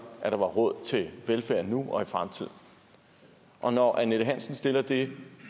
at der var råd til velfærd nu og i fremtiden og når annette hansen stiller det